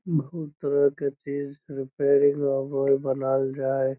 बहुत तरह के चीज रिपेयरिंग बनाल जाय।